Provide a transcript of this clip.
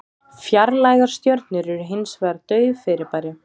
Fjarlægar stjörnur eru hins vegar dauf fyrirbæri.